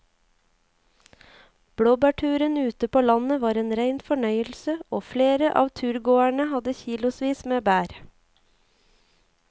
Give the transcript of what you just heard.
Blåbærturen ute på landet var en rein fornøyelse og flere av turgåerene hadde kilosvis med bær.